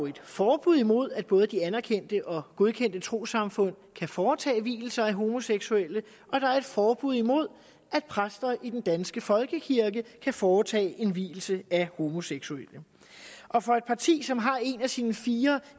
jo et forbud imod at både de anerkendte og godkendte trossamfund kan foretage vielser af homoseksuelle og der er et forbud imod at præster i den danske folkekirke kan foretage en vielse af homoseksuelle og for et parti som har en af sine fire